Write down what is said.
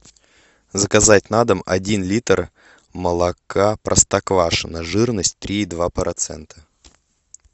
заказать на дом один литр молока простоквашино жирность три и два процента